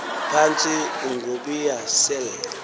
phantsi ungobiya sel